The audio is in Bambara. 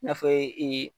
I n'a fɔ ee